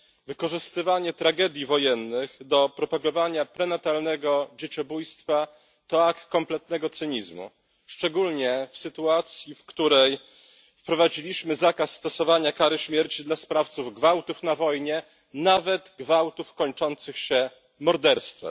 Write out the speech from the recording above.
Wykorzystywanie tragedii wojennych do propagowania prenatalnego dzieciobójstwa to akt kompletnego cynizmu, szczególnie w sytuacji, w której wprowadziliśmy zakaz stosowania kary śmierci dla sprawców gwałtów na wojnie, nawet gwałtów kończących się morderstwem.